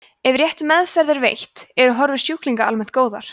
ef rétt meðferð er veitt eru horfur sjúklinga almennt góðar